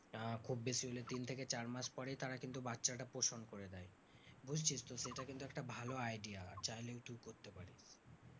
আহ খুব বেশি হলে তিন থেকে চার মাস পরেই তারা কিন্তু বাচ্চাটা প্রসন করে দেয়। বুঝছিস তো সেটা কিন্তু একটা ভালো idea চাইলে তুই করতে পারিস।